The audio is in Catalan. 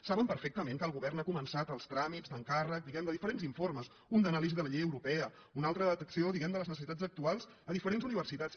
saben perfectament que el govern ha començat els tràmits d’encàrrec diguem de diferents informes un d’anàlisi de la llei europea un altre de detecció de les necessitats actuals a diferents universitats